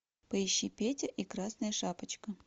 поищи петя и красная шапочка